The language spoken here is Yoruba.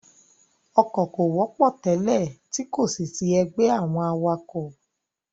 Ọkọ̀ kò wọ́pọ̀ tẹ́lẹ̀ tí kòsì sí ẹgbẹ́ àwọn awakọ̀.